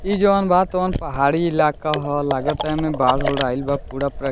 इ जोन बा तोन पहाड़ी इलाका ह लाग ता एमे बाढ़-उढ आइल बा पूड़ा प्र --